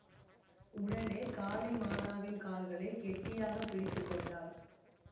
உடனே காளிமாதாவின் கால்களைக் கெட்டியாக பிடித்து கொண்டாள்